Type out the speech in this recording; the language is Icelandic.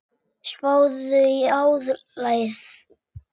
Spáðu í álagið.